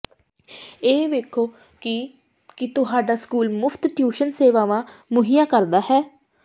ਇਹ ਵੇਖੋ ਕਿ ਕੀ ਤੁਹਾਡਾ ਸਕੂਲ ਮੁਫਤ ਟਿਊਸ਼ਨ ਸੇਵਾਵਾਂ ਮੁਹੱਈਆ ਕਰਦਾ ਹੈ